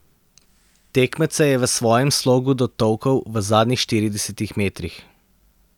Tekmece je v svojem slogu dotolkel v zadnjih štiridesetih metrih.